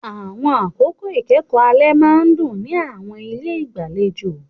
Àwọn àkókò ìkẹ́kọ̀ọ́ alẹ́ máa ń dún ní àwọn ilé ìgbàlejò.